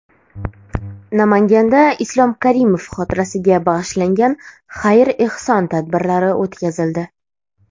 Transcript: Namanganda Islom Karimov xotirasiga bag‘ishlangan xayr-ehson tadbirlari o‘tkazildi.